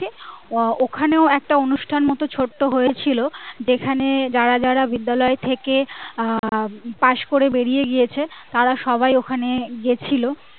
ওখানেও একটা অনুষ্ঠান মত ছোট্ট হয়েছিলো যেখানে যারা যারা বিদ্যালয়ে থেকে আহ pass করে বেরি গিয়েছে তারা সবাই ওখানে গেছিলো